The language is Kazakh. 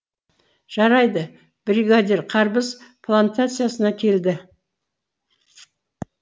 жарайды бригадир қарбыз плантациясына келді